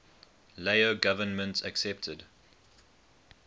lao government accepted